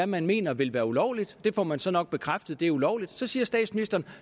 man mener vil være ulovligt og det får man så nok bekræftet er ulovligt og så siger statsministeren